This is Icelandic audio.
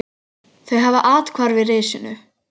Þau hafa athvarf í risinu.